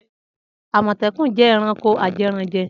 Amotekun jẹ ẹranko ajẹranjẹ.